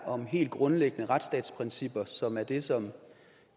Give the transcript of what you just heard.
om helt grundlæggende retsstatsprincipper som er det som